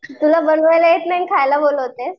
तुला बनवायला येत नाही खायला बोलावतेस.